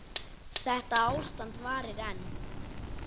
Þetta ástand varir enn.